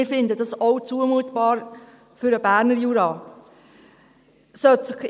Wir finden das auch für den Berner Jura zumutbar.